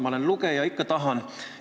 Ma olen lugeja inimene, ikka tahan.